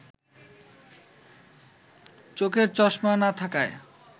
চোখে চশমা না থাকায়